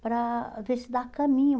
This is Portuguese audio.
Para ver se dá caminho.